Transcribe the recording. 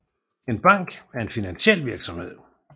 En bank er en finansiel virksomhed